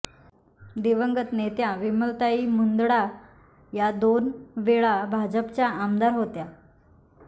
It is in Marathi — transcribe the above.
दिवंगत नेत्या विमलताई मुंदडा या दोन वेळा भाजपच्या आमदार होत्या